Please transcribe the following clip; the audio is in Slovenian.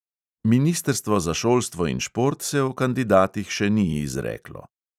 Ministrstvo za šolstvo in šport se o kandidatih še ni izreklo.